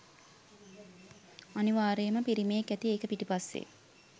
අනිවාර්යෙන්ම පිරිමියෙක් ඇති ඒක පිටිපස්සෙ.